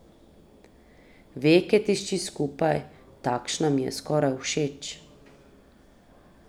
Veke tišči skupaj, takšna mi je skoraj všeč.